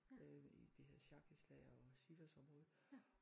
Øh i det hedder Sarkisla og Sivas området